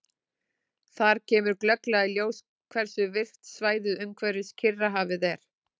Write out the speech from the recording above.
Þar kemur glögglega í ljós hversu virkt svæðið umhverfis Kyrrahafið er.